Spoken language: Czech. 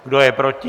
Kdo je proti?